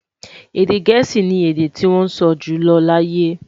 Èdè gèésì ní èdè tí wón sọ jùlọ láyé